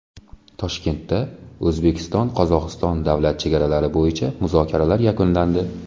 Toshkentda O‘zbekiston – Qozog‘iston davlat chegaralari bo‘yicha muzokaralar yakunlandi.